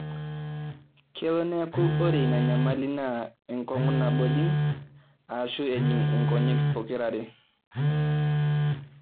kelo neeku ore ina nyamali naa enkong'u nabo ejing aashu ejing' inkonyek pokira are